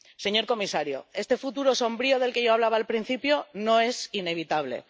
Señor comisario, este futuro sombrío del que yo hablaba al principio no es inevitable.